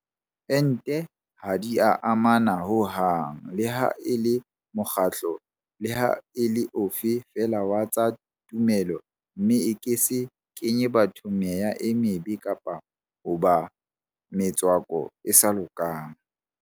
Ente ha di a amana ho hang leha e le mokgatlo leha e le ofe feela wa tsa tumelo mme e ke se kenye batho meya e mebe kapa hoba le metswako e sa lokang.